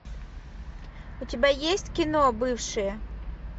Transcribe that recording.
у тебя есть кино бывшие